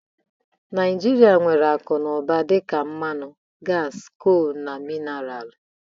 Naijiria nwere akụ na ụba dị ka mmanụ, gasi, colu na minaralu.